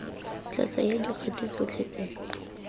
tla tsaya dikgato tdotlhe tse